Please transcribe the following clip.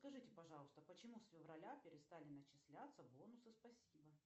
скажите пожалуйста почему с февраля перестали начисляться бонусы спасибо